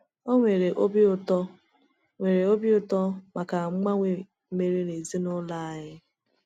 Ọ nwere obi ụtọ nwere obi ụtọ maka mgbanwe mere n’ezinụlọ anyị.